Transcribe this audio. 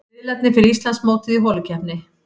Riðlarnir fyrir Íslandsmótið í holukeppni